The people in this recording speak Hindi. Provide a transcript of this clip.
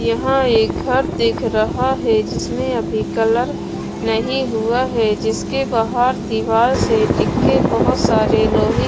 यहाँ एक घर दिख रहा है जिसमें अभी कलर नहीं हुआ है जिसके बाहर दीवार से टिक्के बहुत सारे लोहे --